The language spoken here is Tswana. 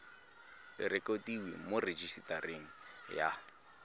e rekotiwe mo rejisetareng ya